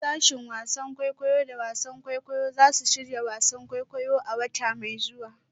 Sashen wasan kwaikwayo da wasan kwaikwayo za su shirya wasan kwaikwayo a wata mai zuwa.